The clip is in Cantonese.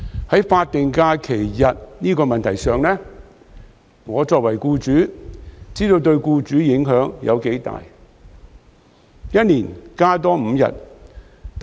在法定假日日數這個問題上，我作為僱主，明白對僱主的影響有多大。